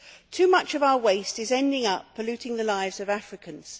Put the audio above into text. Too much of our waste is ending up polluting the lives of Africans.